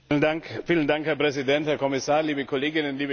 Herr Präsident, Herr Kommissar, liebe Kolleginnen, liebe Kollegen!